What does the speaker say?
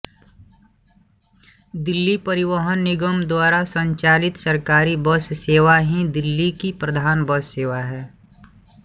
दिल्ली परिवहन निगम द्वारा संचालित सरकारी बस सेवा ही दिल्ली की प्रधान बस सेवा है